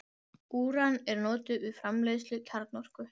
Úran er notað við framleiðslu kjarnorku.